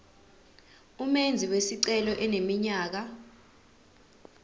umenzi wesicelo eneminyaka